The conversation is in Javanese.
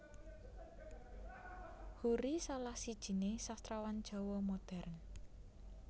Hoery salah sijiné Sastrawan Jawa Modern